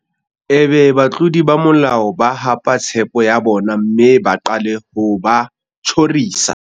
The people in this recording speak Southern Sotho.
Ebe batlodi ba molao ba hapa tshepo ya bona mme ba qale ho ba tjhorisa.